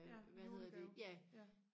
ja julegave ja